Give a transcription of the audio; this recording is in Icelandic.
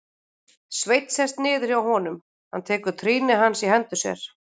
Sveinn sest niður hjá honum, tekur trýni hans í hendur sér.